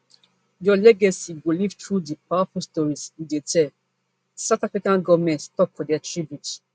your legacy go live on through di powerful stories you dey tell south african govment tok for dia tributes